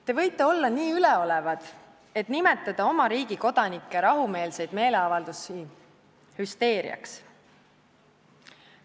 Te võite olla nii üleolevad, et nimetada oma riigi kodanike rahumeelseid meeleavaldusi hüsteeriaks.